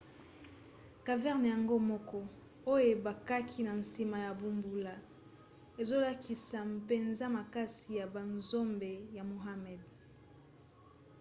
caverne yango moko oyo ebikaki na nsima ya bambula ezolakisa mpenza makanisi ya bonzambe ya muhammad